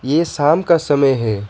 ये शाम का समय है।